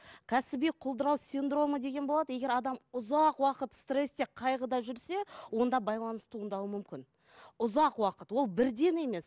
кәсіби құлдырау синдромы деген болады егер адам ұзақ уақыт стрессте қайғыда жүрсе онда байланыс туындауы мүмкін ұзақ уақыт ол бірден емес